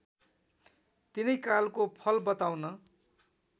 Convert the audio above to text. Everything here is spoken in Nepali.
तिनै कालको फल बताउन